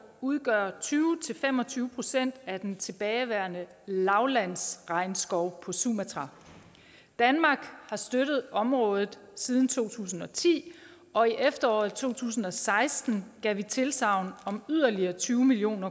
udgør tyve til fem og tyve procent af den tilbageværende lavlandsregnskov på sumatra danmark har støttet området siden to tusind og ti og i efteråret to tusind og seksten gav vi tilsagn om yderligere tyve million